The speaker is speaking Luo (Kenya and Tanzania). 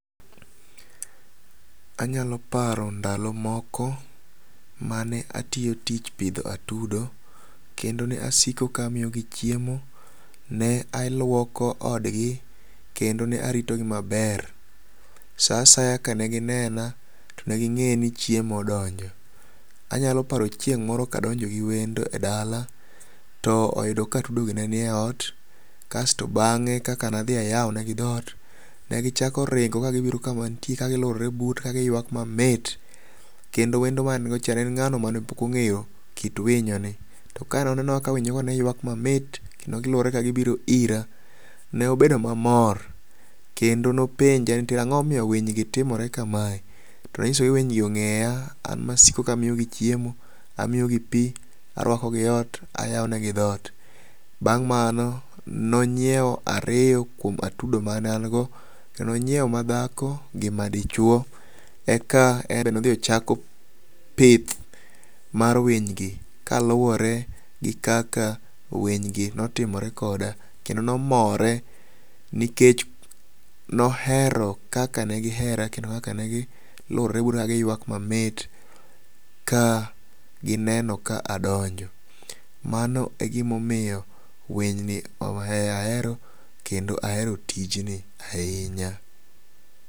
Anyalo paro ndalo moko mane atio tich pidho atudo, kendo ne asiko kamiogi chiemo, ne aluoko odgi, kendo nearitogi maber. Sa asaya kane ginena, to negi ng'e ni chiemo odonjo. Anyalo paro chieng' moro kadonjo gi wendo e dala, to oyudo ka atudogi nie ot, kasto bang'e kaka nadhi ayaonegi dhot, negichako ringo ka gibiro kama antie kagi lwuorre buta kagiywak mamit, kendo wendo mane ango cha neen ng'ano mane pok ong'eyo kit winyo ni. To kanoneno kaka winyogi ne ywak mamit, kendo gilworre ka gibiro ira, neobedo mamor, kendo nopenja ni "To ang'momio winygi timore kamae?" Tanyise ni "Winygi ong'eya, an masiko kamiogi chiemo, amiogi pii, arwakogi ot, ayaonegi dhot." Bang' mano, nonyieo ario kwom atudo mane ango, to nonyieo madhako gi madichwo, eka nodhiochako pith mar winy gi kaluwore gi kaka winy gi notimore koda, kendo nomora nikech nohero kaka negi hera kendo kaka negi lworre buta kagiywak mamit ka gineno ka adonjo. Mano e gimomio winy ni oh ahero kendo ahero tijni ahinya.